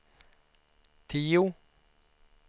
tio